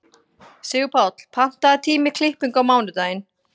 Sigurpáll, pantaðu tíma í klippingu á mánudaginn.